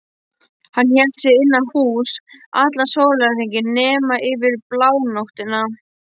Hann hélt sig innan húss allan sólarhringinn nema yfir blánóttina.